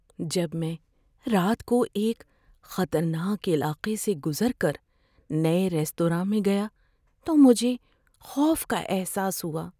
جب میں رات کو ایک خطرناک علاقے سے گزر کر نئے ریستوراں میں گیا تو مجھے خوف کا احساس ہوا۔